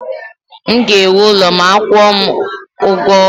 M ga-ewu ụlọ ma a kwuo m ugo ọnwa m